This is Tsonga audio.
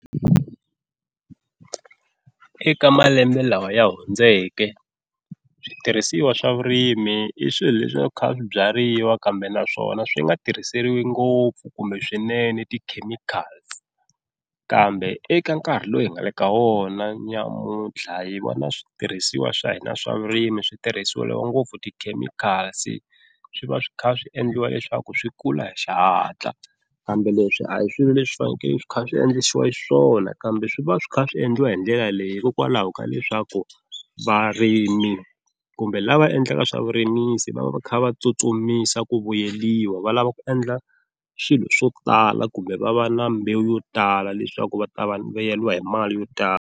Eka malembe lawa ya hundzeke switirhisiwa swa vurimi i swilo leswi a swi kha swi byariwa kambe naswona swi nga tirhiseriwi ngopfu kumbe swinene ti-chemicals kambe eka nkarhi lowu hi nga le ka wona nyamuntlha hi vona switirhisiwa swa hina swa vurimi switirhiseliwa ngopfu ti-chemicals, swi va swi kha swi endliwa leswaku swi kula hi xihatla kambe leswi a hi swilo leswi fanekele swi kha swi endlisiwa xiswona, kambe swi va swi kha swi endliwa hi ndlela leyi hikokwalaho ka leswaku varimi kumbe lava endlaka swa vurimisi va va kha va tsutsumisa ku vuyeliwa, va lava ku endla swilo swo tala kumbe va va na mbewu yo tala leswaku va ta vuyeriwa hi mali yo tala.